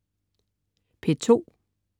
P2: